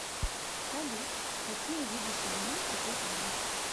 салют какие виды суглинки ты знаешь